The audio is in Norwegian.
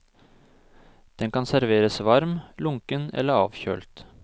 Den kan serveres varm, lunken eller avkjølt.